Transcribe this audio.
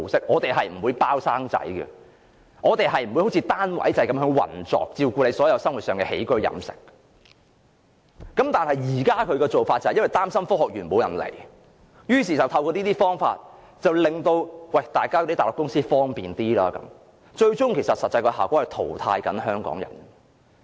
我們不會"包生仔"，我們不會像單位制般運作，照顧員工生活上的起居飲食，但政府現時擔心沒有人才來科學園，於是便透過這個計劃，給內地公司一些方便，最終的實際效果是淘汰香港人。